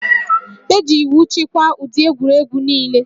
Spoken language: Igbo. E ji iwu chịkwaa ụdị egwuregwu niile